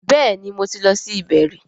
Bẹ́ẹ̀ni mo ti lọ sí ibẹ̀ rí